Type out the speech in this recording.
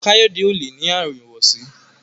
Kayode o lẹ ní Àrùn ìwọsí.